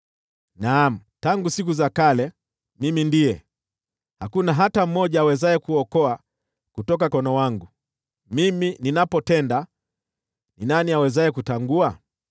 Naam, tangu siku za kale, Mimi ndiye. Hakuna hata mmoja awezaye kuokoa kutoka mkononi wangu. Mimi ninapotenda, ni nani awezaye kutangua?”